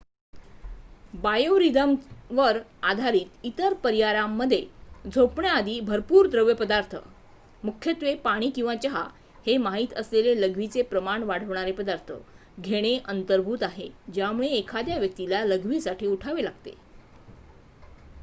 बायोरिदमवर आधारित इतर पर्यायांमध्ये झोपण्याआधी भरपूर द्रवपदार्थ मुख्यत्वे पाणी किंवा चहा हे माहित असलेले लघवीचे प्रमाण वाढवणारे पदार्थ घेणे अंतर्भूत आहे ज्यामुळे एखाद्या व्यक्तीला लघवीसाठी उठावे लागते